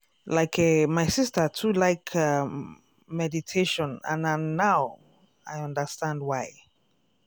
like eh my sister too like umm meditation and na now i understand why.